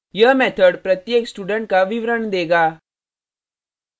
यह method प्रत्येक student का विवरण देगा